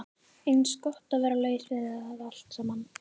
Eins gott að vera laus við það allt saman.